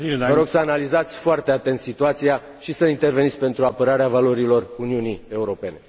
Vă rog să analizați foarte clar situația și să interveniți pentru apărarea valorilor Uniunii Europene.